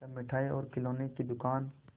तब मिठाई और खिलौने की दुकान